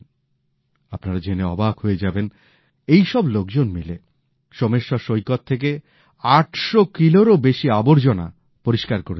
আপনারা জেনে অবাক হয়ে যাবেন এই সব লোকজন মিলে সোমেশ্বর সৈকত থেকে ৮০০ কিলোরও বেশী আবর্জনা পরিস্কার করে দিয়েছেন